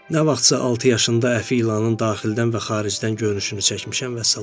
Nə vaxtsa altı yaşında əfi ilanın daxildən və xaricdən görünüşünü çəkmişəm, vəssalam.